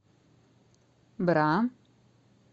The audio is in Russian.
бра